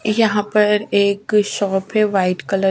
यहाँ पर एक शॉप है वाइट कलर --